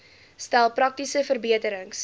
stel praktiese verbeterings